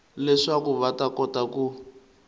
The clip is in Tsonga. leswaku va ta kota ku